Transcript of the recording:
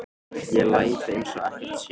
Ég læt eins og ekkert sé.